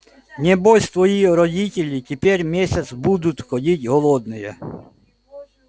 небось твои родители теперь месяц будут ходить голодные